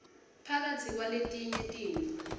phakatsi kwaletinye tintfo